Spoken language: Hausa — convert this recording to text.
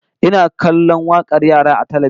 Ina kallon wakar yara a talbijin